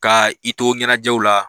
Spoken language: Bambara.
Ka i to ɲɛnajɛw la